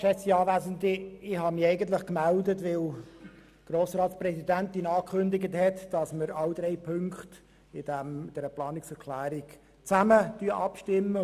Ich habe mich eigentlich gemeldet, weil die Grossratspräsidentin angekündigt hat, dass wir über alle drei Ziffern dieser Planungserklärung gemeinsam abstimmen.